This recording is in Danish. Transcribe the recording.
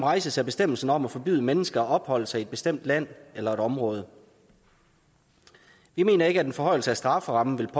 rejses af bestemmelsen om at forbyde mennesker at opholde sig i et bestemt land eller område vi mener ikke at en forhøjelse af strafferammen